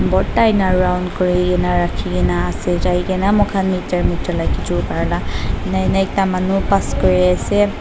porda ene round kuri kena raki kena ase jai kena moi khan mat juilai chur kurala ene ene ekta manu pass kuri ase.